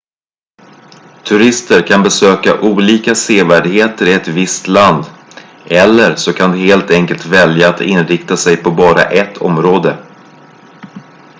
turister kan besöka olika sevärdheter i ett visst land eller så de kan helt enkelt välja att inrikta sig på bara ett område